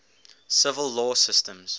civil law systems